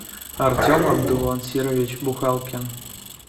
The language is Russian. артем абдулансирович бухалкин